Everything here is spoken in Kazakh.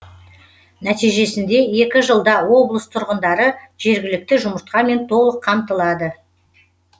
нәтижесінде екі жылда облыс тұрғындары жергілікті жұмыртқамен толық қамтылады